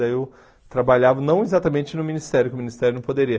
Aí eu trabalhava, não exatamente no ministério, porque o ministério não poderia.